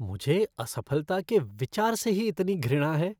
मुझे असफलता के विचार से ही इतनी घृणा है